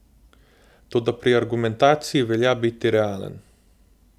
Toda pri argumentaciji velja biti realen.